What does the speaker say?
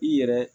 I yɛrɛ